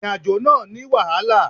Ìrìnàjò náà ní wàhálà.